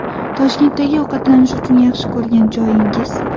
Toshkentdagi ovqatlanish uchun yaxshi ko‘rgan joyingiz?